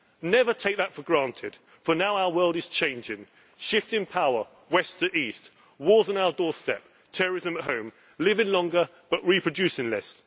Never take that for granted, for now our world is changing shifting power from West to East, wars on our doorstep, terrorism at home, living longer but reproducing less.